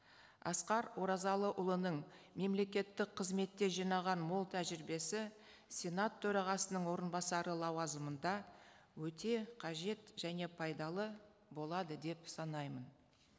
асқар оразалыұлының мемлекеттік қызметте жинаған мол тәжірибесі сенат төрағасының орынбасары лауазымында өте қажет және пайдалы болады деп санаймын